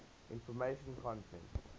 information content